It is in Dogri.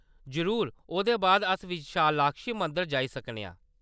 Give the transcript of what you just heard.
जरूर, ओह्‌‌‌दे बाद अस विशालाक्षी मंदर जाई सकने आं।